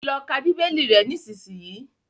Lọ kà bibeli rè nisisiyi!